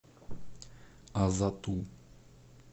азату